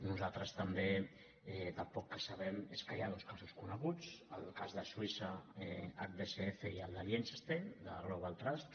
nosaltres també del poc que sabem és que hi ha dos casos coneguts el cas de suïssa hbsc i el de liechtenstein de global trust